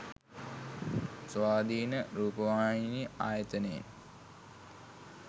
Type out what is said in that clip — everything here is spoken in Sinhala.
ස්වාධීන රූපවාහිනී ආයතනයෙන්